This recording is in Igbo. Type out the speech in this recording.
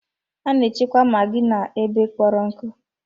A na-echekwa maggi n'ebe kpọrọ nkụ.